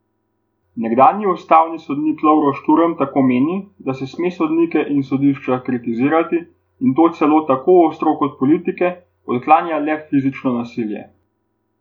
Nekdanji ustavni sodnik Lovro Šturm tako meni, da se sme sodnike in sodišča kritizirati, in to celo tako ostro kot politike, odklanja le fizično nasilje.